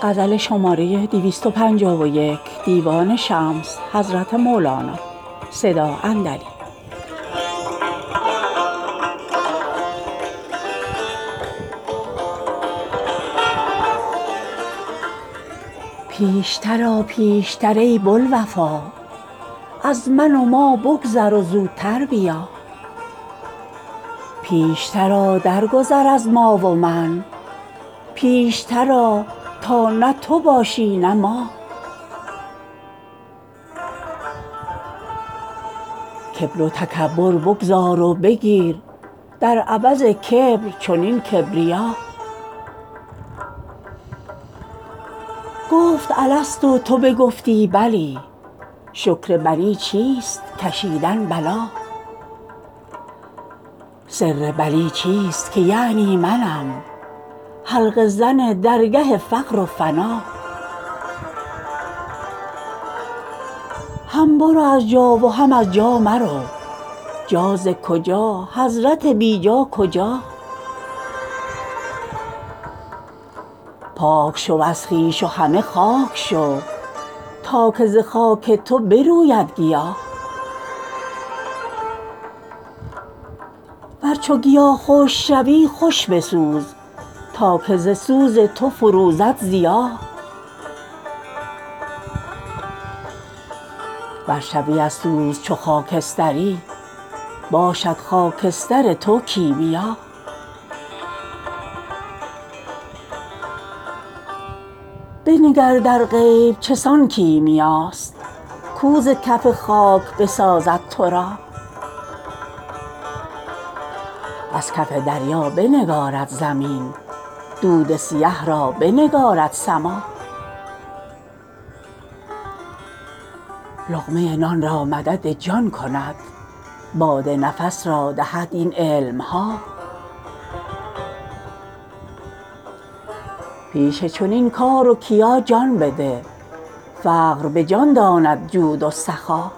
پیشتر آ پیشتر ای بوالوفا از من و ما بگذر و زوتر بیا پیشتر آ درگذر از ما و من پیشتر آ تا نه تو باشی نه ما کبر و تکبر بگذار و بگیر در عوض کبر چنین کبریا گفت الست و تو بگفتی بلی شکر بلی چیست کشیدن بلا سر بلی چیست که یعنی منم حلقه زن درگه فقر و فنا هم برو از جا و هم از جا مرو جا ز کجا حضرت بی جا کجا پاک شو از خویش و همه خاک شو تا که ز خاک تو بروید گیا ور چو گیا خشک شوی خوش بسوز تا که ز سوز تو فروزد ضیا ور شوی از سوز چو خاکستری باشد خاکستر تو کیمیا بنگر در غیب چه سان کیمیاست کو ز کف خاک بسازد تو را از کف دریا بنگارد زمین دود سیه را بنگارد سما لقمه نان را مدد جان کند باد نفس را دهد این علم ها پیش چنین کار و کیا جان بده فقر به جان داند جود و سخا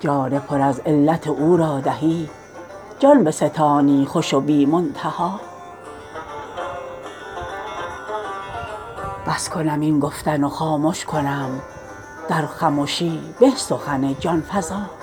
جان پر از علت او را دهی جان بستانی خوش و بی منتها بس کنم این گفتن و خامش کنم در خمشی به سخن جان فزا